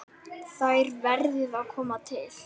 Þær verði að koma til.